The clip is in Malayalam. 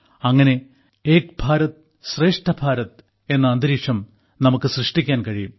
അങ്ങനെ ഏക് ഭാരത്ശ്രേഷ്ഠ ഭാരത് എന്ന അന്തരീക്ഷം നമുക്ക് സൃഷ്ടിക്കാൻ കഴിയും